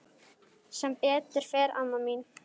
Sem betur fer amma mín.